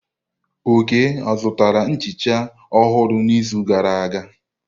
Oke zụtara nhicha ọhụrụ n'izu gara aga?